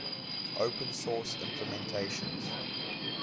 open source implementations